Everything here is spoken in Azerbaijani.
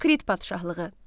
Krit padşahlığı.